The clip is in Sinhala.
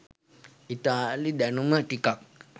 ඉතාලි දැනුම ටිකක්